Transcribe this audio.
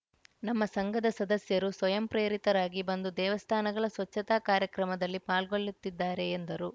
ನಮ್ಮ ಸಂಘದ ಸದಸ್ಯರು ಸ್ವಯಂ ಪ್ರೇರಿತರಾಗಿ ಬಂದು ದೇವಸ್ಥಾನಗಳ ಸ್ವಚ್ಚತಾ ಕಾರ್ಯಕ್ರಮದಲ್ಲಿ ಪಾಲ್ಗೊಳ್ಳುತ್ತಿದ್ದಾರೆ ಎಂದರು